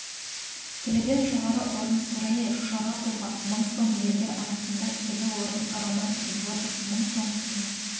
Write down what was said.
келіден жоғары орын сураи шаропова мың сом ерлер арасында келі орын роман григорьев мың сом келі